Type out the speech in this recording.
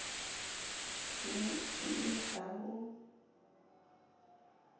ne e le la ho